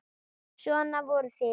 Svona voruð þið.